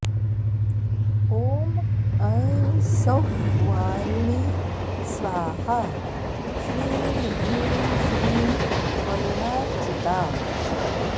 ॐ ऐं सौः वारुणी स्वाहा श्रीं ह्रीं श्रीं वरुणार्चिता